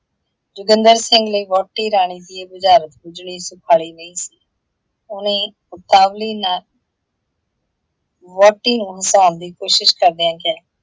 ਜੋਗਿੰਦਰ ਸਿੰਘ ਨੂੰ ਵਹੁਟੀ ਰਾਣੀ ਦੀ ਇਹ ਬੁਝਾਰਤ ਬੁਝੱਣੀ ਸੁਖਾਲੀ ਨਹੀਂ ਸੀ। ਉਹਨੇ ਉਤਾਵਲੀ ਨਾਲ ਵਹੁਟੀ ਨੂੰ ਹਸਾਉਣ ਦੀ ਕੋਸ਼ਿਸ਼ ਕਰਦਿਆਂ ਕਿਹਾ,